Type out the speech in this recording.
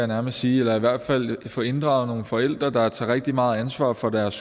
nærmest sige eller i hvert fald at få inddraget nogle forældre der tager rigtig meget ansvar for deres